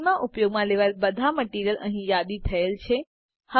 સીનમાં ઉપયોગમાં લેવાયેલ બધા મટીરીઅલ અહીં યાદી થયેલ છે